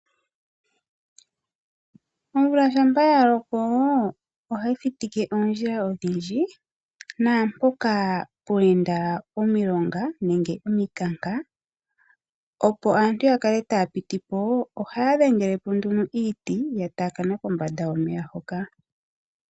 Omvula shampa ya loko oha yi thitike oondjila odhindji, naampoka pwa enda omilonga nenge ompikanka, opo aantu ya kale ta ya piti po, ohaya dhengele po nduno iiti ya taakana kombanda yomeya hoka.